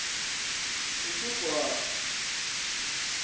uthugwana